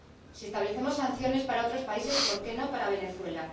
Si establecemos sanciones para otros países, ¿por qué no para Venezuela?